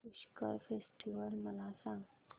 Pushkar festival मला सांग